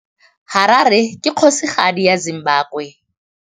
Harare ke kgosigadi ya Zimbabwe.